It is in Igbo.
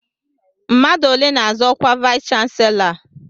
Mmadụ ole n'azọ ọkwa vayis chansilọ a?